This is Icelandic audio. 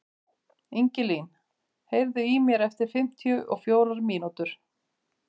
Ingilín, heyrðu í mér eftir fimmtíu og fjórar mínútur.